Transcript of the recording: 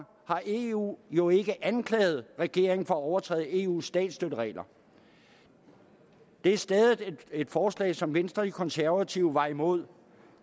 har eu jo ikke anklaget regeringen for at overtræde eus statsstøtteregler det er stadig et forslag som venstre og de konservative var imod